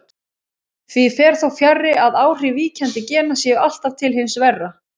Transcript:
Því fer þó fjarri að áhrif víkjandi gena séu alltaf til hins verra.